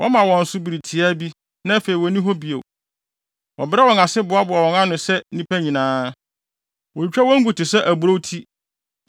Wɔma wɔn so bere tiaa bi, na afei wonni hɔ bio; wɔbrɛ wɔn ase boaboa wɔn ano sɛ nnipa nyinaa; wotwitwa wɔn gu te sɛ aburow ti.